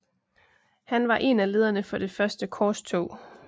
Han var en af lederne for det første korstog